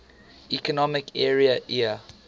economic area eea